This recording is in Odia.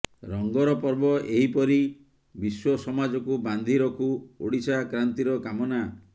ରଙ୍ଗର ପର୍ବ ଏହି ପରି ବିଶ୍ବ ସମାଜକୁ ବାନ୍ଧି ରଖୁ ଓଡ଼ିଶା କ୍ରାନ୍ତିର କାମନା